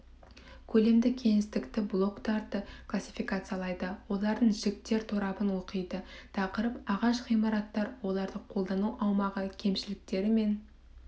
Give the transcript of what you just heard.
көлемді кеңістікті блоктарды классификациялайды олардың жіктер торабын оқиды тақырып ағаш ғимараттар оларды қолдану аумағы кемшіліктері мен